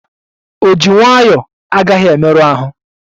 Ojii nwayọ agaghi emeru ahụ